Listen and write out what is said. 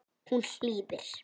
Hún hlýðir.